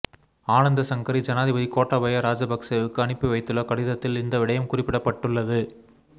ஆனந்தசங்கரி ஜனாதிபதி கோட்டாபய ராஜபக்சவுக்கு அனுப்பி வைத்துள்ள கடிதத்தில் இந்த விடயம் குறிப்பிடப்பட்டுள்ளது